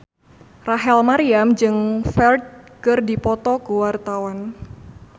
Rachel Maryam jeung Ferdge keur dipoto ku wartawan